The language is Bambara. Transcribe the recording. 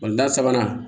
da sabanan